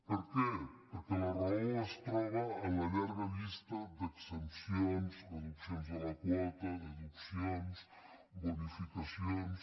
per què perquè la raó es troba a la llarga llista d’exempcions reduccions de la quota deduccions bonificacions